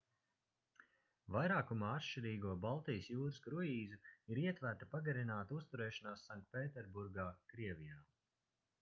vairākumā atšķirīgo baltijas jūras kruīzu ir ietverta pagarināta uzturēšanās sanktpēterburgā krievijā